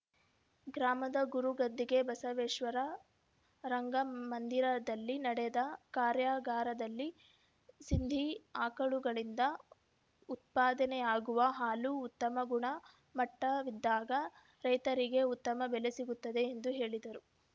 ಗ್ರಾಮದ ಗುರು ಗದ್ದಿಗೆ ಬಸವೇಶ್ವರ ರಂಗಮಂದಿರದಲ್ಲಿ ನಡೆದ ಕಾರ್ಯಾಗಾರದಲ್ಲಿ ಸಿಂಧಿ ಆಕಳುಗಳಿಂದ ಉತ್ಫಾದನೆಯಾಗುವ ಹಾಲು ಉತ್ತಮ ಗುಣ ಮಟ್ಟವಿದ್ದಾಗ ರೈತರಿಗೆ ಉತ್ತಮ ಬೆಲೆ ಸಿಗುತ್ತದೆ ಎಂದು ಹೇಳಿದರು